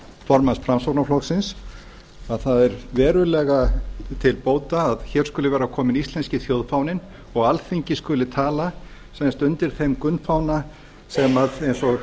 formanns framsóknarflokksins að það er verulega til bóta að hér skuli vera kominn íslensku þjóðfáninn og alþingi skuli tala nánast undir þeim gunnfána sem eins og